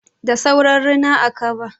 Da sauran rina, a kaba.